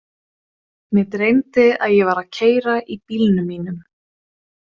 Mig dreymdi að ég var að keyra í bílnum mínum.